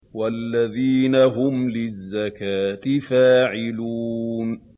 وَالَّذِينَ هُمْ لِلزَّكَاةِ فَاعِلُونَ